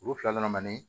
Olu fila nana manani